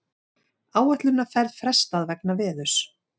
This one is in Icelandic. Áætlunarferð frestað vegna veðurs